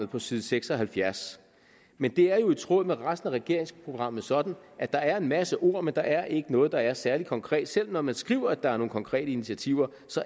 på side seks og halvfjerds men det er jo i tråd med resten af regeringsprogrammet sådan at der er en masse ord men der er ikke noget der er særlig konkret selv når man skriver at der er nogle konkrete initiativer